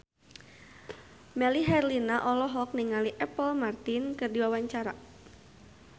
Melly Herlina olohok ningali Apple Martin keur diwawancara